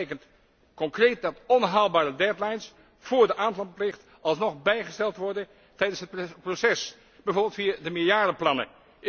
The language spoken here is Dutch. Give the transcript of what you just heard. Dat betekent concreet dat onhaalbare deadlines voor de aanlandplicht alsnog bijgesteld moeten worden tijdens het proces, bijvoorbeeld via de meerjarenplannen.